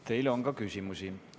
Teile on ka küsimusi.